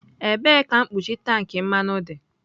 Ebee ka mkpuchi tank mmanụ dị?